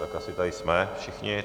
Tak asi tady jsme všichni.